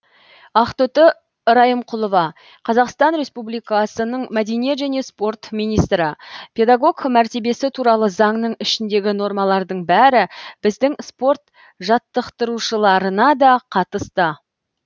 ақтоты райымқұлова қазақстан республикасының мәдениет және спорт министрі педагог мәртебесі туралы заңның ішіндегі нормалардың бәрі біздің спорт жаттықтырушыларына да қатысты